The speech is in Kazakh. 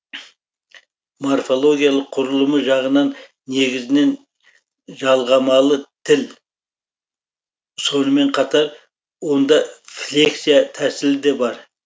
морфологиялық құрылымы жағынан негізінен жалғамалы тіл сонымен қатар онда флексия тәсілі де бар